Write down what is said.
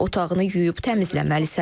Otağını yuyub təmizləməlisən.